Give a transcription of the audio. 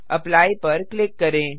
apply पर click करें